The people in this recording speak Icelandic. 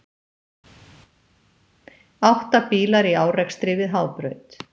Átta bílar í árekstri við Hábraut